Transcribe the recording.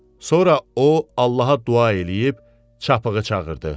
Sonra o, Allaha dua eləyib, çapığı çağırdı.